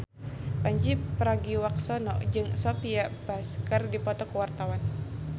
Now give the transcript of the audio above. Pandji Pragiwaksono jeung Sophia Bush keur dipoto ku wartawan